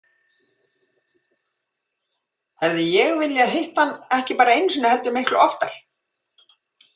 Hefði ég viljað hitta hann ekki bara einu sinni heldur miklu oftar?